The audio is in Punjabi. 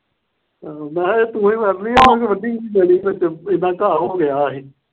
ਮੈ ਕਿਹਾ ਤੂੰ ਹੀ ਵੱਢ ਲਈ ਮੇਰੇ ਤੋਂ ਵੱਢੀ ਨਹੀਂ ਜਾਣੀ ਵਿਚ ਏਦਾਂ ਘਾਹ ਹੋ ਗਿਆ ਇਹ।